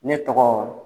Ne tɔgɔ